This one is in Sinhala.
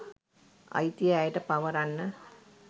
අයිතිය ඇයට පවරන්න